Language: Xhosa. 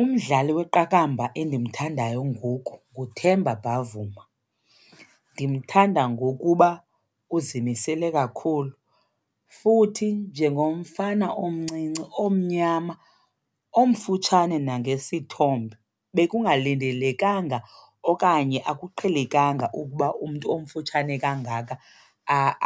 Umdlali weqakamba endimthandayo ngoku nguThemba Bhavuma. Ndimthanda ngokuba uzimisele kakhulu, futhi njengomfana omncinci, omnyama, omfutshane nangesithombe bekungafanelekanga okanye akuqhelekanga ukuba umntu omfutshane kangaka